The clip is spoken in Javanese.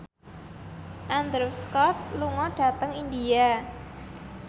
Andrew Scott lunga dhateng India